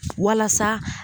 Walasa